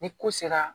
Ni ko sera